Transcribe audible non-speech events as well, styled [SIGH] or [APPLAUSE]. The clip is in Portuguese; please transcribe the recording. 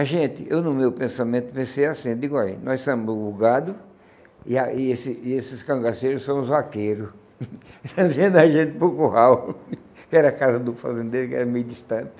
A gente, eu no meu pensamento pensei assim, digo assim olhe, nós somos o gado e a e esse e esses cangaceiros são os vaqueiros, [LAUGHS] trazendo a gente para o curral, [LAUGHS] que era a casa do fazendeiro, que era meio distante.